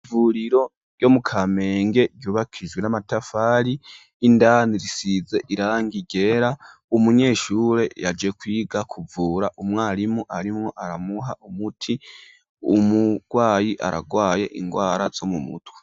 Ivuriro ryo mu Kamenge ryubakishijwe n'amatafari. Indani risize irangi ryera. Umunyeshure yaje kwiga kuvura, umwarimu arimwo aramuha umuti, umurwayi aragwaye ingwara zo mu mutwe.